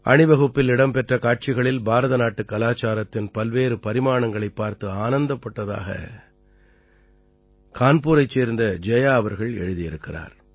அணிவகுப்பில் இடம் பெற்ற காட்சிகளில் பாரதநாட்டுக் கலாச்சாரத்தின் பல்வேறு பரிமாணங்களைப் பார்த்து ஆனந்தப்பட்டதாக கான்பூரைச் சேர்ந்த ஜயா அவர்கள் எழுதியிருக்கிறார்